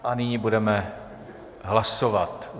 A nyní budeme hlasovat.